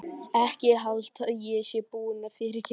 Ekki halda að ég sé búin að fyrirgefa þér.